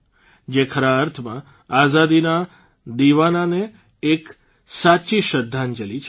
જે ખરા અર્થમાં આઝાદીના દિવાનાને એક સાચી શ્રદ્ધાંજલી હશે